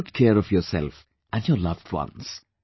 Take good care of yourself and your loved ones